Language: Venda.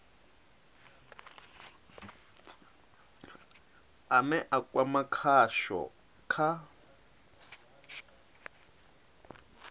ane a kwama khasho kha